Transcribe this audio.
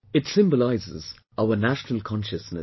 It symbolises our national consciousness